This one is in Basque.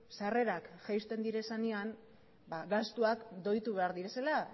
sarrerak jaisten direnean gastuak doitu behar direla